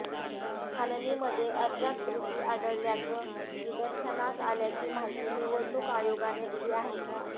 छाननीमध्ये अर्जात त्रुटी आढळल्याचं निदर्शनास आल्याची माहिती निवडणूक आयोगाने दिली आहे